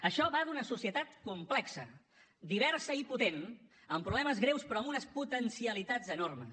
això va d’una societat complexa diversa i potent amb problemes greus però amb unes potencialitats enormes